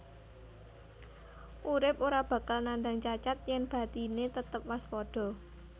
Urip ora bakal nandang cacat yèn batiné tetep waspada